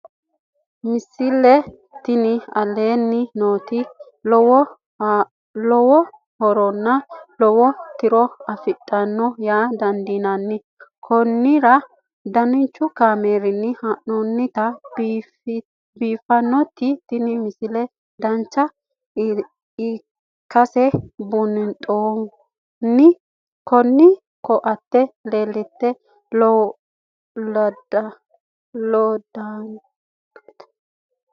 misile tini aleenni nooti lowo horonna lowo tiro afidhinote yaa dandiinanni konnira danchu kaameerinni haa'noonnite biiffannote tini misile dancha ikkase buunxanni kuni koatete lekkate wodhinannite